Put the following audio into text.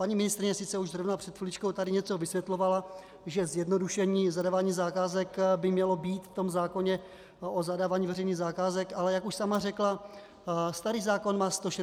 Paní ministryně sice už zrovna před chviličkou tady něco vysvětlovala, že zjednodušení zadávání zakázek by mělo být v tom zákoně o zadávání veřejných zakázek, ale jak už sama řekla, starý zákon má 161 paragrafů.